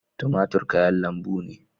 Tumatir kayan lambu ne